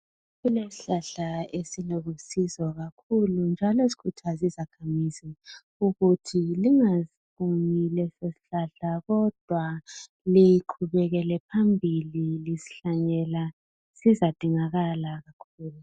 Kule sihlahla esilusizo kakhulu njalo sikhuthaza izakhamizi ukuthi lingaSiqumi leso sihlahla kodwa iqhubekele phambili lisihlanyela ngoba sizadingakala